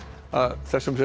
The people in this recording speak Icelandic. þessu